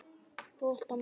Þó alltaf minna og minna.